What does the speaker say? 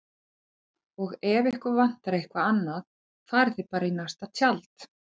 Og ef ykkur vantar eitthvað annað farið þið bara í næsta tjald